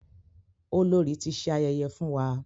Olórí ti ṣe ayẹyẹ fún wa.